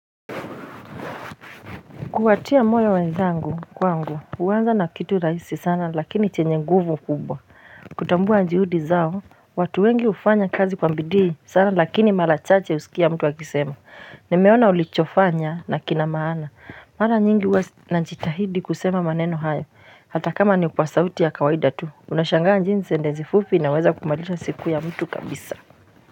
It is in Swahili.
Kuhatia moyo wenzangu kwangu huanza na kitu rahisi sana lakini chenye nguvu kubwa Kutambua juhudi zao watu wengi hufanya kazi kwa bii sana lakini mara chache husikia mtu akisema Nimeona ulichofanya nakina maana mara nyingi huwa najitahidi kusema maneno hayo Hata kama ni kwa sauti ya kawaida tu unashangaa jinsi sentensi i fupi inaweza kubadilisha siku ya mtu kabisa.